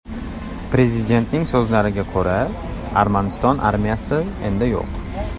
Prezidentning so‘zlariga ko‘ra, Armaniston armiyasi endi yo‘q.